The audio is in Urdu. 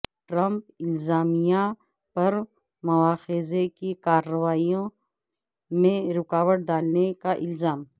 ٹرمپ انتظامیہ پر مواخذے کی کارروائی میں رکاوٹ ڈالنے کا الزام